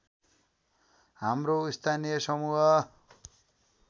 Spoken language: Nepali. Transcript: हाम्रो स्थानीय समूह